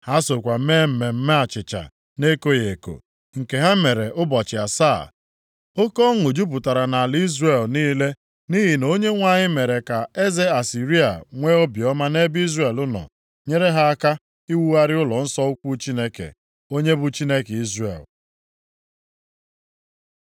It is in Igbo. Ha sokwa mee mmemme achịcha na-ekoghị eko, nke ha mere ụbọchị asaa. Oke ọṅụ jupụtara nʼala Izrel niile nʼihi na Onyenwe anyị mere ka eze Asịrịa nwee obiọma nʼebe Izrel nọ, nyere ha aka iwugharị ụlọnsọ ukwu Chineke, onye bụ Chineke Izrel.